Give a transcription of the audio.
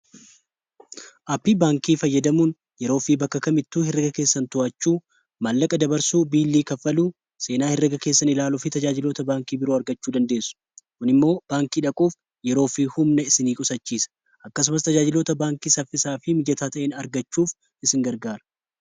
Aappii baankii fayyadamuun yeroo fi bakka kamittuu hirreega keessan tu'achuu, maallaqa dabarsuu, biilii kaffaluu, seenaa hirreega keessan ilaalu fi tajaajiloota baankii biroo argachuu dandeessu. kuni immoo baankii dhaquuf yeroo fi humna isinii qusachiisa. akkasumas tajaajiloota baankii saffisaa fi mijataa ta'an argachuuf isin gargaara.